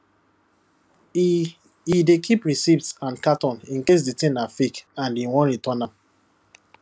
e e dey keep receipt and carton in case the thing na fake and e wan return am